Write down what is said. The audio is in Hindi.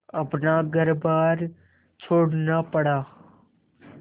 अपना घरबार छोड़ना पड़ा